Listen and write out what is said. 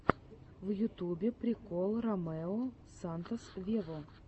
в ютубе прикол ромео сантос вево